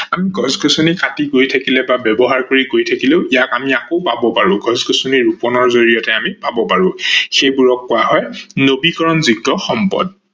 আমি গছ গছনি কাতি গৈ থাকিলে বা ব্যৱহাৰ কৰি গৈ থাকিলেও ইয়াক আমি আকৌ পাব পাৰো। গছ গছনি ৰুপনৰ জৰিয়তে আমি পাৱ পাৰো। সেইবোৰক কোৱা হয় নৱীকৰনযোগ্য সম্পদ।